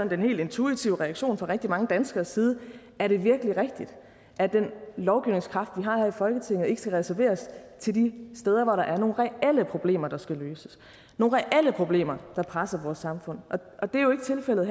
den helt intuitive reaktion fra mange danskeres side er det virkelig rigtigt at den lovgivningskraft vi har her i folketinget ikke skal reserveres til de steder hvor der er nogle reelle problemer der skal løses nogle reelle problemer der presser vores samfund og det er jo ikke tilfældet